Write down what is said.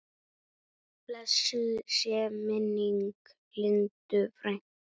Blessuð sé minning Lindu frænku.